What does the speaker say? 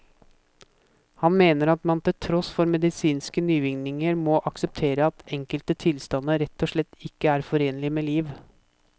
Han mener at man til tross for medisinske nyvinninger må akseptere at enkelte tilstander rett og slett ikke er forenlig med liv.